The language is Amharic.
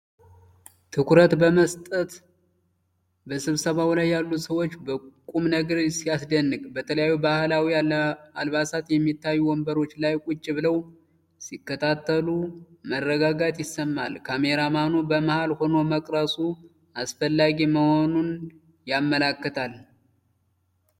ትኩረት በመሰጠት በስብሰባው ላይ ያሉ ሰዎች ቁምነገር ሲያስደንቅ ። በተለያዩ ባህላዊ አልባሳት የሚታዩ ወንበሮች ላይ ቁጭ ብለው ሲከታተሉ መረጋጋት ይሰማል !!። ካሜራማኑ በመሃል ሆኖ መቅረጹ አስፈላጊ መሆኑን ያመለክታል።